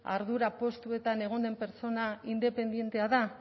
ardura postuetan egon den pertsona independentea da